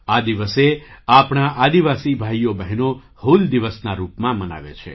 આ દિવસે આપણા આદિવાસી ભાઈઓ બહેનો 'હૂલ દિવસ'ના રૂપમાં મનાવે છે